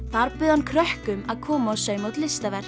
þar bauð hann krökkum að koma og sauma út listaverk